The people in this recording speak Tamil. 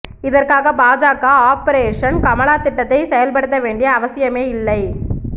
இதற்காக பாஜக ஆபரேஷன் கமலா திட்டத்தைச் செயல்படுத்த வேண்டிய அவசியமே இல்லை